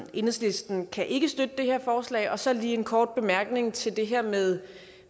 enhedslisten kan ikke støtte det her forslag jeg har så lige en kort bemærkning til det her med